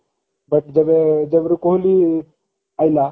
but ଯେବେ ଯେବେରୁ କୋହଲି ଆଇଲା